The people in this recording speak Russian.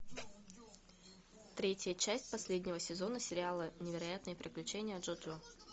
третья часть последнего сезона сериала невероятные приключения джоджо